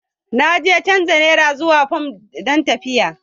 Na je canza Nera zuwa fam don tafiyata